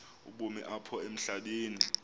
ubomi apha emhlabeni